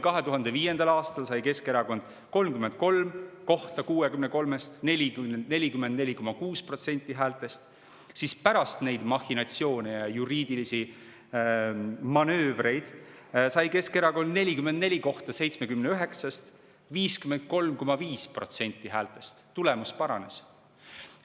2005. aastal sai Keskerakond 33 kohta 63‑st, 44,6% häältest, aga pärast neid mahhinatsioone ja juriidilisi manöövreid sai Keskerakond 44 kohta 79‑st, 53,5% häältest – tulemus paranes.